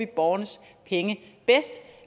borgernes penge bedst